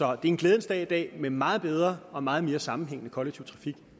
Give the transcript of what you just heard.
er en glædens dag i dag med meget bedre og meget mere sammenhængende kollektiv trafik